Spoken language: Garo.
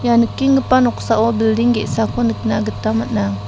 ia nikenggipa noksao bilding ge·sako nikna gita man·a.